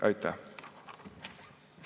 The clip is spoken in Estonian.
Aitäh!